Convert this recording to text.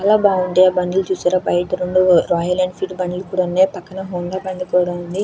చాలా బాగుంది. ఆ బండ్లు చూశారా బయట నుండి రాయల్ ఎన్ఫీల్డ్ బండ్లు ఇక్కడ ఉన్నాయి. పక్కన హోండా బండి కూడా ఉంది.